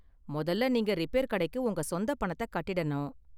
மொதல்ல நீங்க ரிப்பேர் கடைக்கு உங்க சொந்த பணத்த கட்டிடணும்.